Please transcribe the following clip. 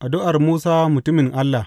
Addu’ar Musa Mutumin Allah.